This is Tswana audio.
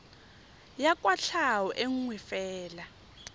ya kwatlhao e nngwe fela